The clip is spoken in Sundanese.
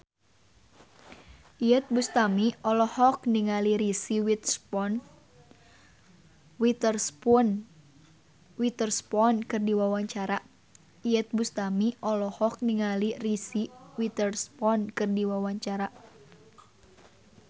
Iyeth Bustami olohok ningali Reese Witherspoon keur diwawancara